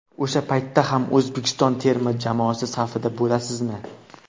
O‘sha paytda ham O‘zbekiston terma jamoasi safida bo‘lasizmi?